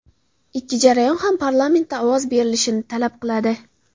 Ikki jarayon ham parlamentda ovoz berilishini talab qiladi.